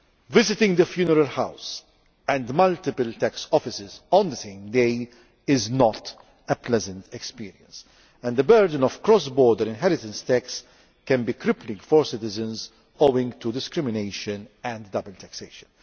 Visiting the funeral house and multiple tax offices on the same day is not a pleasant experience, and the burden of cross border inheritance tax can be crippling for citizens, owing to discrimination and double taxation.